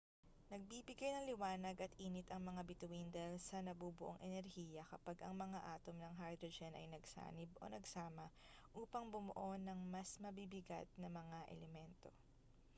nagbibigay ng liwanag at init ang mga bituin dahil sa nabubuong enerhiya kapag ang mga atom ng hydrogen ay nagsanib o nagsama upang bumuo ng mas mabibigat na mga elemento